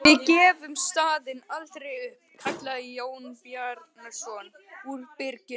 Við gefum staðinn aldrei upp, kallaði Jón Bjarnason úr byrginu.